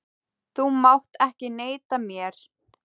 Þú mátt ekki neita mér.